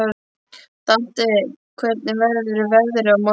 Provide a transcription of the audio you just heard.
Dante, hvernig verður veðrið á morgun?